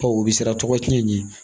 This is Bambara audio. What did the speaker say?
Ɔ o bɛ siran tɔgɔ cɛn ɲɛ